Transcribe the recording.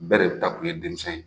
Bɛɛ de ta kun ye denmisɛn ye.